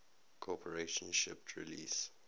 corporation shipped release